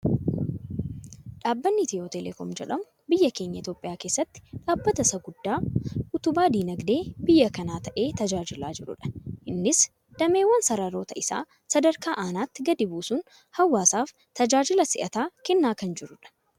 Dhaabbanni etiyootelekoom jedhamu, biyya keenya Itoophiyaa keessatti, dhaabbata isa guddaa utubaa dinaagdee biyya kanaa ta'ee tajaajilaa jirudha. Innis dameewwan sararoota isaa sadarkaa aanaatti gadi buusuun hawaasa isaaf tajaajila si'ataa kennaa kan jirudha.